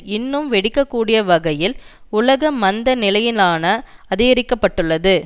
இன்னும் வெடிக்கக்கூடிய வகையில் உலக மந்த நிலையினான அதிகரிக்க பட்டுள்ளது